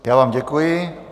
Já vám děkuji.